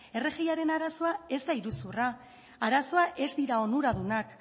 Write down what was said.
rgiaren arazoa ez da iruzurra arazoa ez dira onuradunak